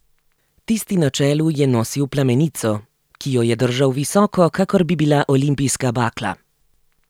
Tisti na čelu je nosil plamenico, ki jo je držal visoko, kakor da bi bila olimpijska bakla.